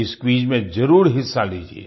इस क्विज में जरुर हिस्सा लीजिये